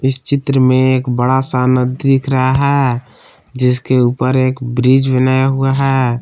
इस चित्र में एक बड़ा सा नदी दिख रहा है जिसके ऊपर एक ब्रिज बनाया हुआ है।